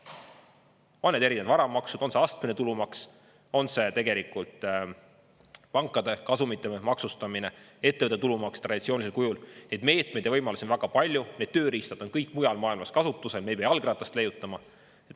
On need erinevad varamaksud, on see astmeline tulumaks, on see tegelikult pankade kasumite maksustamine, ettevõtte tulumaks traditsioonilisel kujul: neid meetmeid ja võimalusi on väga palju, need tööriistad on kõik mujal maailmas kasutusel, me ei pea jalgratast leiutama.